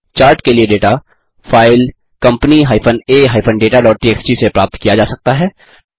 chart के लिए data file company a dataटीएक्सटी से प्राप्त किया जा सकता है